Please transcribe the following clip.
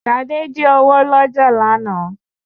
Ṣadé jí owó lọ́jà lánàá